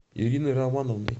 ириной романовной